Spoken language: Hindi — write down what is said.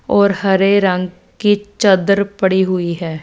और हरे रंग की चद्दर पड़ी हुईं हैं।